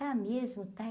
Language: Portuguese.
Tá mesmo, tá?